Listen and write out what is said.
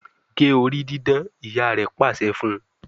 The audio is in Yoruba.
gé orí didán! ìyá rẹ pàṣẹ fún.